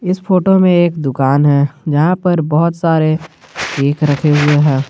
इस फोटो में एक दुकान है जहां पर बहुत सारे केक रखे हुए हैं।